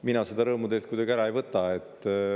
Mina seda rõõmu teilt kuidagi ära ei võta.